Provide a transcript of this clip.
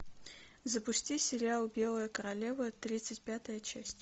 запусти сериал белая королева тридцать пятая часть